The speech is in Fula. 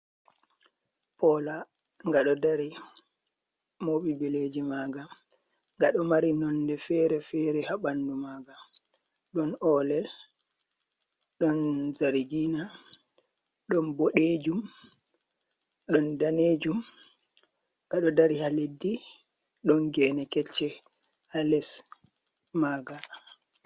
Pola, gado dari mobi bileji maga, gado mari nonde fere fere habandu maga, don olel ,don zarigina, don bodejum, don danejum. Gado dari ha leddi don gene kecce ha les maga.